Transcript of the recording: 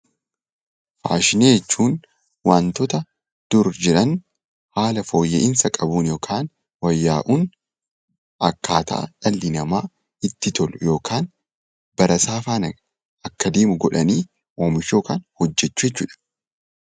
Faashinii jechuun wanta duraan jiru bifa fooyya'insa qabuun wayyaa'uun akkaataa dhalli namaa itti tolu yookiin bara isaa faana akka deemu godhanii oomishuu yookiin hojjechuu jechuudha.